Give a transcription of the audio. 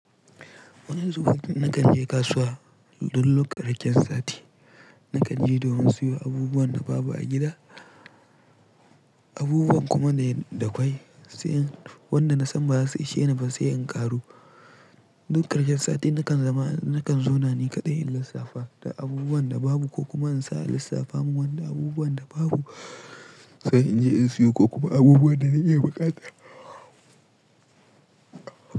Wani zubun nakan je kasuwa duk ƙarkin sati, nakan je domin siyo abubuwan da babu a gida, abubuwan kuma da kwai, sai wanda na san ba za su ishe ni ba sai in ƙaro. Duk ƙarshen sati nakan zama, nakan zauna ni kaɗai in lissafa da abubuwan da babu ko kuma in sa lissafa min wanda abubuwan da babu sai in je in siyo ko kuma abubuwan da na iya buƙata.